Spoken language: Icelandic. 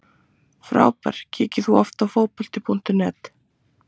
Frábær Kíkir þú oft á Fótbolti.net?